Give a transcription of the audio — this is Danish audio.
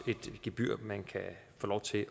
et gebyr man kan få lov til